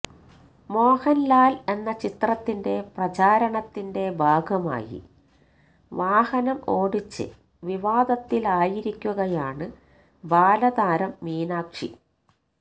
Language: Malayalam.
മോഹന്ലാല് എന്ന ചിത്രത്തിന്റെ പ്രചാരണത്തിന്റെ ഭാഗമായി വാഹനം ഓടിച്ച് വിവാദത്തിലായിരിക്കുകയാണ് ബാലതാരം മീനാക്ഷി